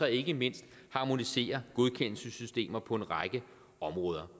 og ikke mindst harmonisere godkendelsessystemer på en række områder